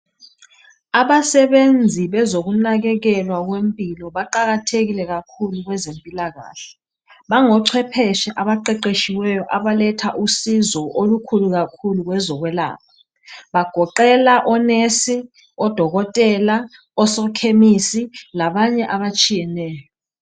Abasebenzi bezokunakekelwa kwempilo baqakathekile kakhulu kwezempilakahle. Bangocwepheshe abaqeqetshiweyo abaletha usizo olukhulu kakhulu kwezokwelapha bagoqela o nurse, odokotela osokhemisi labanye abatshiyeneyo.